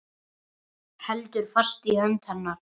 Heldur fast í hönd hennar.